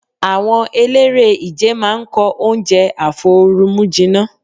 Àwọn eléré-ìje máa ń kọ oúnjẹ àfoorumújinná.